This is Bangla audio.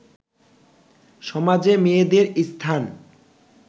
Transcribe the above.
সমাজে মেয়েদের স্থান